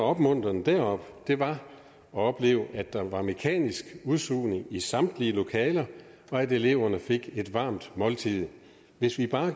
opmuntrende deroppe var at opleve at der var mekanisk udsugning i samtlige lokaler og at eleverne fik et varmt måltid hvis vi bare